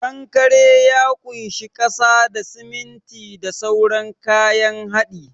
Kankare ya kunshi kasa da, siminti da sauran kayan hadi.